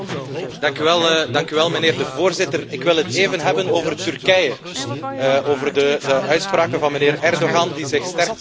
Ik wil het even hebben over Turkije, over de uitspraken van meneer Erdogan die zich sterk profileert tegen de Europese Unie.